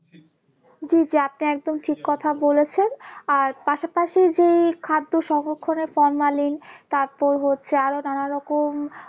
জি জি আপনি একদম ঠিক কথা বলেছেন আর পাশাপাশি যেই খাদ্য সংরক্ষণের formalin তারপর হচ্ছে আরো নানারকম